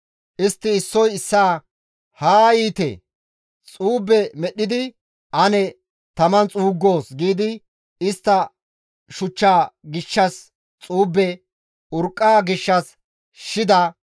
Istti issoy issaa, «Haa yiite; xuube medhdhidi ane taman xuuggoos» giidi istta shuchcha gishshas xuube, urqqa gishshas shida